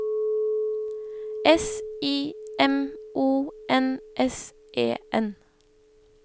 S I M O N S E N